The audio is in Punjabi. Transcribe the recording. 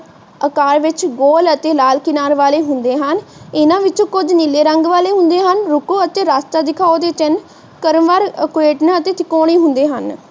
ਆਕਾਰ ਵਿੱਚ ਗੋਲ ਅਤੇ ਲਾਲ ਕਿਨਾਰ ਵਾਲੇ ਹੁੰਦੇ ਹਨ ਇਹਨਾਂ ਵਿੱਚੋ ਕੁਝ ਨੀਲੇ ਰੰਗ ਵਾਲੇ ਹੁੰਦੇ ਹਨ। ਰੁਕੋ ਅਤੇ ਰਾਸਤਾ ਦਿਖਾਓ ਦੇ ਚਿਹਨ ਕ੍ਰਮਵਾਰ ਅਤੇ ਤਿਕੋਣੇ ਹੁੰਣਦੇ ਹਨ।